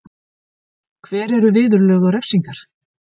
Hver eru viðurlög og refsingar?